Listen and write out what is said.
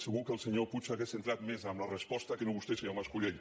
segur que el senyor puig hauria entrat més en la resposta que no vostè senyor mas·colell